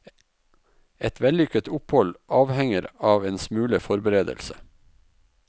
Et vellykket opphold avhenger av en smule forberedelse.